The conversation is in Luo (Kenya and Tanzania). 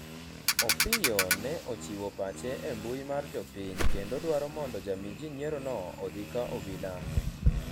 Opiyo ne ochiwo pache e mbui mar jopiny kendo dwaro mondo jamii ji nyiero'no odhi ka obila